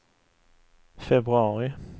februari